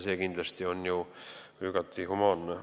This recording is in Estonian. See on kindlasti ju igati humaanne.